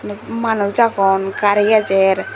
iyot manus aagon gari ejer.